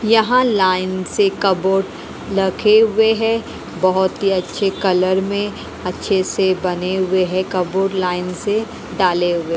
यहाँ लाइन से कबर्ड लगे हुए हैं बहुत ही अच्छे कलर में अच्छे से बने हुए हैं कबर्ड लाइन से डाले हुए हैं।